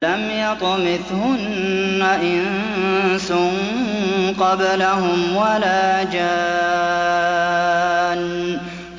لَمْ يَطْمِثْهُنَّ إِنسٌ قَبْلَهُمْ وَلَا جَانٌّ